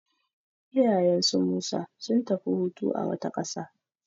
Iyayen su Musa sun tafi hutu a wata ƙasa.